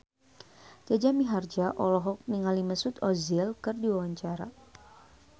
Jaja Mihardja olohok ningali Mesut Ozil keur diwawancara